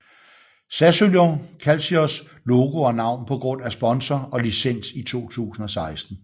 Sassuolo Calcios logo og navn på grund af sponsor og licens i 2016